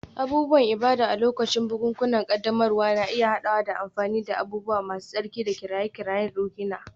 Abubuwan ibada a lokacin bukukuwan ƙaddamarwa na iya haɗawa da amfani da abubuwa masu tsarki da kiraye-kirayen ruhaniya.